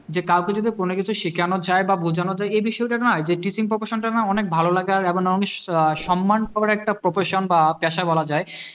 যে কাউকে যদি কোনো কিছু শেখানো যায় বা বোঝোনো যায় এই বিষয়টা না যে teaching profession টা না অনেক ভালো লাগে আর আহ সম্মান পাওয়ার একটা proportion বা পেশা বলা যায়